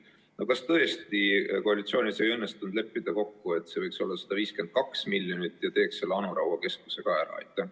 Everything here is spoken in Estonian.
No kas tõesti koalitsioonis ei õnnestunud kokku leppida, et see võiks olla 152 miljonit, ja teeks selle Anu Raua keskuse ka ära?